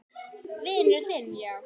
Vinur þinn, já?